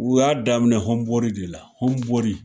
U y'a daminɛ hɔnbori de la hɔnbori